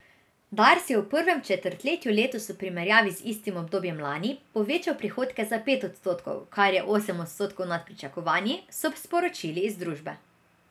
Dars je v prvem četrtletju letos v primerjavi z istim obdobjem lani povečal prihodke za pet odstotkov, kar je osem odstotkov nad pričakovanji, so sporočili iz družbe.